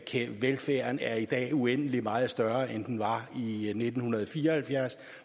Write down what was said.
velfærden er i dag uendelig meget større end den var i i nitten fire og halvfjerds